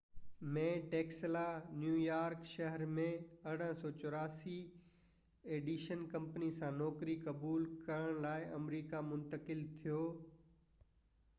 1884 ۾ Tesla New York شهر ۾ Edison company سان نوڪري قبول ڪرڻ لاءِ آمريڪا منتقل ٿيو